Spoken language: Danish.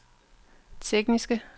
tekniske